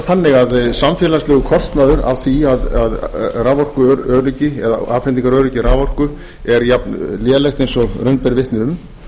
þannig að samfélagslegur kostnaður af því að raforkuöryggi eða afhendingaröryggi raforku er jafn lélegt eins og raun ber vitni um